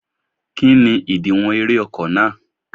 Kí ni ìdiwọ̀n eré ọkọ̀ náà?